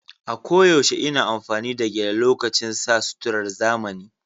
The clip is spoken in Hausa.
A koyaushe ina amfani da gele lokacin sa suturar zamani.